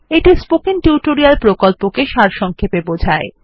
এটি spoken tutorial প্রকল্পটি সারসংক্ষেপে বোঝায়